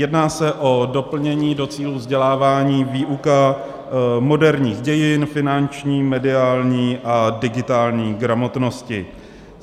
Jedná se o doplnění do cílů vzdělávání, výuka moderních dějin, finanční, mediální a digitální gramotnosti.